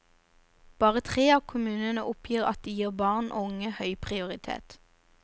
Bare tre av kommunene oppgir at de gir barn og unge høy prioritet.